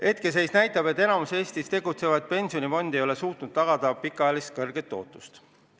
Hetkeseis näitab, et enamik Eestis tegutsevaid pensionifonde ei ole suutnud tagada pikaajalist kõrget tootlust.